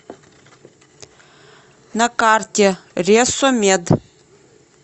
на карте ресо мед